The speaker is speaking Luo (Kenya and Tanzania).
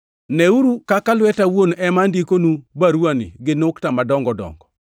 Neyeuru kaka lweta awuon ema ondikonu baruwani gi nukta madongo dongo!